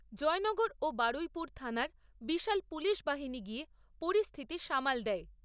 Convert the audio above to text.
জয়নগর ও বারুইপুর থানার বিশাল পুলিশবাহিনী গিয়ে পরিস্থিতি সামাল দেয়।